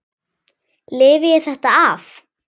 Lifi ég þetta af?